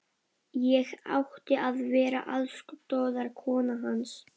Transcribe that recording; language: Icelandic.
Ég átti að vera aðstoðarkona hans.